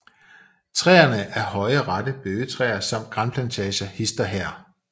Træerne af høje rette bøgetræer samt granplantager hist og her